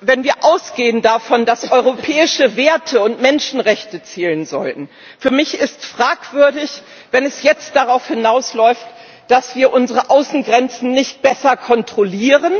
Wenn wir davon ausgehen, dass europäische Werte und Menschenrechte zählen sollten, ist es für mich fragwürdig, wenn es jetzt darauf hinausläuft, dass wir unsere Außengrenzen nicht besser kontrollieren,